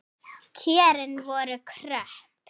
Kjörin voru kröpp.